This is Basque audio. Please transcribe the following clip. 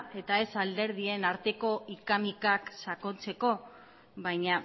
eta ez alderdien arteko hika mikak sakontzeko baina